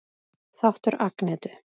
Þáttur Agnetu